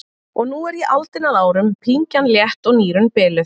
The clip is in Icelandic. Og nú er ég aldinn að árum, pyngjan létt og nýrun biluð.